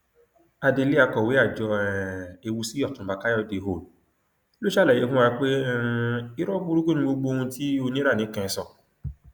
adelé akọwé àjọ um ewusìòtúnba káyọdé howll ló ṣàlàyé fún wa pé um irọ burúkú ni gbogbo ohun tí oníranìkẹn sọ